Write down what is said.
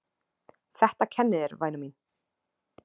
Þetta kennir þér væna mín!!!!!